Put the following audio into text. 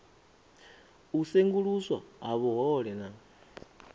u senguluswa ha vhuhole na